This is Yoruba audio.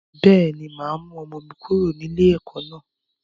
Bẹ́ẹ̀ni, máa mú ọmọ mi kúrò ní ilé ẹ̀kọ́ naa